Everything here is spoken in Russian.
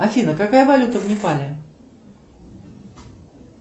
афина какая валюта в непале